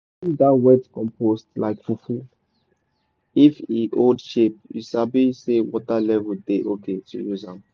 squeeze that wet compost like fufu if e hold shape you sabi say water level dey okay to use am.